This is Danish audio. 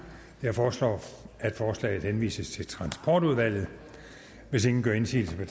jeg foreslår at forslaget henvises til transportudvalget hvis ingen gør indsigelse